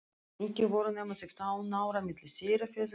Ekki voru nema sextán ár á milli þeirra feðga, Jóns